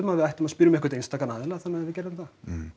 að við ættum að spyrja um einhvern aðila þannig við gerðum það